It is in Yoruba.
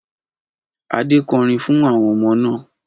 Adé kọrin fún àwọn ọmọ náà.